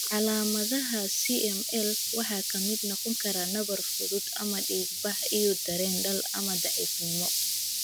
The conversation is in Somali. Calaamadaha aCML waxaa ka mid noqon kara nabar fudud ama dhiig-bax iyo dareen daal ama daciifnimo.